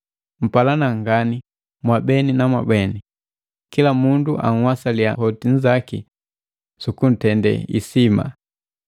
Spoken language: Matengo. Mpalana ngani mwabeni na mwabeni, kila mundu anhwasalia hoti nzaki sukuntende hisima.